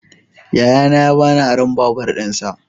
Yayana ya ba ni aron babur dinsa.